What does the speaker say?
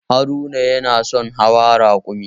Haruna yana son hawa raƙumi